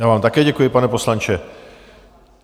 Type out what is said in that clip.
Já vám také děkuji, pane poslanče.